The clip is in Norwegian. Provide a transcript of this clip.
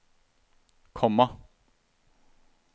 komma